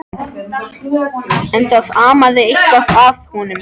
En það amaði eitthvað að honum.